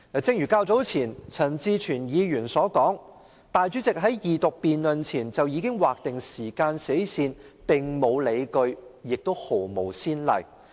正如較早前陳志全議員所說，主席在二讀辯論前便劃定時間死線的做法並無理據，亦無先例。